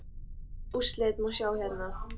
Öll úrslit má sjá hérna.